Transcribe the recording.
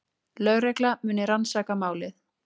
Lögregla muni rannsaka málið